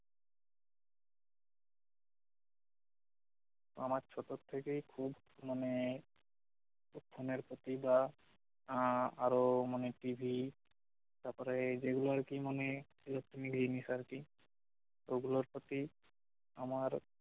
আমার ছোট থেকেই খুব মানে এই ফোনের প্রতি বা আহ আরও মানে টিভি তারপরে এই যেগুলো আর কি মানে electronics জিনিস আর কি তো ওগুলোর প্রতি আমার